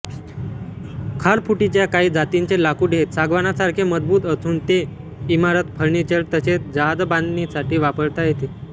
खारफुटीच्या काही जातींचे लाकूड हे सागवानासारखे मजबूत असून ते इमारत फर्निचर तसेच जहाजबांधणीसाठी वापरता येते